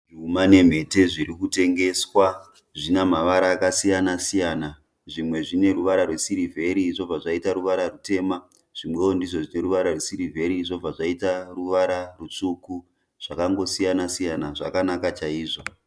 Zvuma nemhete zvirikutengeswa. Zvinamavara akasiyana-siyana. Zvimwe zvineruvara rwesirivheri zvobva zvaita ruvara rwutema zvimwewo ndizvo zvineruvara rwesirivheri zvobva zvaita ruvara rwutsvuku. Zvakangosiyana-siyana, zvakanaka chaizvo.